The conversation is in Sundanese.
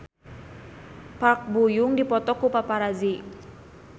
Park Bo Yung dipoto ku paparazi